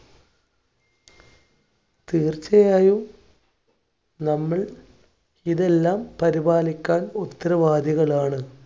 തീർച്ചയായും നമ്മൾ ഇതെല്ലാം പരിപാലിക്കാൻ ഉത്തരവാദികളാണ്.